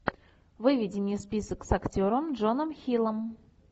выведи мне список с актером джоном хиллом